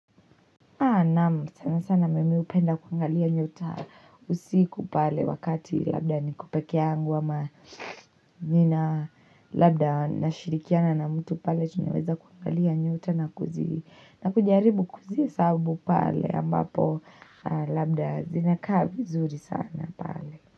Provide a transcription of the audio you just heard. Sana sana mimi upenda kuangalia nyota usiku pale wakati labda ni ko peke yangu ama nina labda nashirikiana na mtu pale chenyeweza kuangalia nyota na kuzi na kujaribu kuzihesabu pale ambapo labda zinakaa vi zuri sana.